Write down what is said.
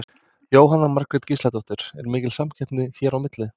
Jóhanna Margrét Gísladóttir: Er mikil samkeppni hérna á milli?